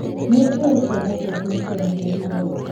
nĩnjũi ciana ciaku nĩ cianenehire